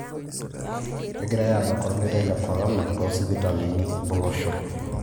Kegirai aabak ormeitai le Corona to sipitalini o loshon